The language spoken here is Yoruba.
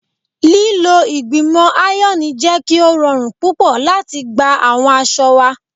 Lilo igbimọ iron jẹ ki o rọrun pupọ lati gba awọn aṣọ wa